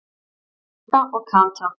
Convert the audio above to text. Magga og Kata.